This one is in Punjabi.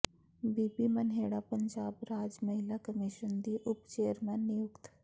ਬੀਬੀ ਮਨਹੇੜਾ ਪੰਜਾਬ ਰਾਜ ਮਹਿਲਾ ਕਮਿਸ਼ਨ ਦੀ ਉਪ ਚੇਅਰਪਰਸਨ ਨਿਯੁਕਤ